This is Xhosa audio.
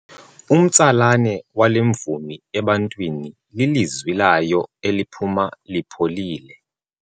Umtsalane wale mvumi ebantwini lilizwi layo eliphuma lipholile.